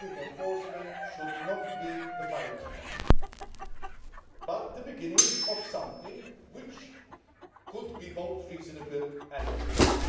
Improving enforcement should not be the final step, but the beginning of an approach which could be both reasonable and ambitious.